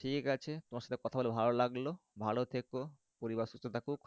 ঠিক আছে তোমার সাথে কথা বলে ভালো লাগলো ভালো থেকো পরিবার সুস্থ থাকুক।